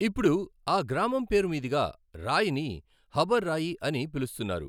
ఇప్పుడు ఆ గ్రామం పేరుమీదుగా రాయిని హబర్ రాయి అని పిలుస్తున్నారు.